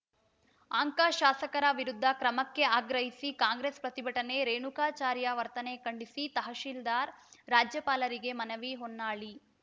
anchor ಶಾಸಕರ ವಿರುದ್ಧ ಕ್ರಮಕ್ಕೆ ಆಗ್ರಹಿಸಿ ಕಾಂಗ್ರೆಸ್‌ ಪ್ರತಿಭಟನೆ ರೇಣುಕಾಚಾರ್ಯ ವರ್ತನೆ ಖಂಡಿಸಿ ತಹಸೀಲ್ದಾರ್‌ ರಾಜ್ಯಪಾಲರಿಗೆ ಮನವಿ ಹೊನ್ನಾಳಿ